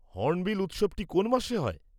Hornbill উৎসবটি কোন মাসে হয়?